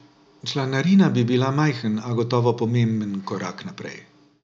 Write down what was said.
Članarina bi bila majhen, a gotovo pomemben korak naprej.